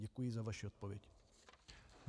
Děkuji za vaši odpověď.